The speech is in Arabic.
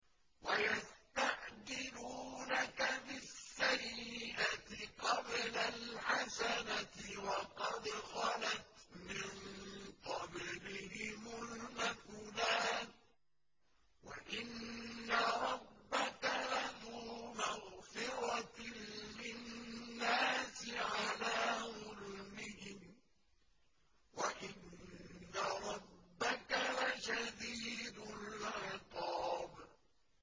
وَيَسْتَعْجِلُونَكَ بِالسَّيِّئَةِ قَبْلَ الْحَسَنَةِ وَقَدْ خَلَتْ مِن قَبْلِهِمُ الْمَثُلَاتُ ۗ وَإِنَّ رَبَّكَ لَذُو مَغْفِرَةٍ لِّلنَّاسِ عَلَىٰ ظُلْمِهِمْ ۖ وَإِنَّ رَبَّكَ لَشَدِيدُ الْعِقَابِ